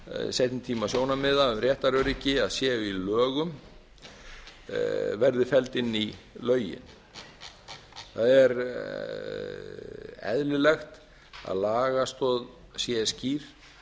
seinni tíma sjónarmiða um réttaröryggi að séu í lögum verði felld inn í lögin það er eðlilegt að lagastoð sé skýr